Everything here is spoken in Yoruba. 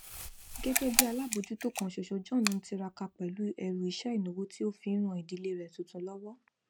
gẹgẹ bí alábòójútó kan ṣoṣo john tiraka pẹlú ẹrù iṣẹ ìnáwó ti o fi n ran ìdílé rẹ tuntun lọwọ